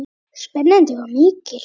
Spennan var mikil.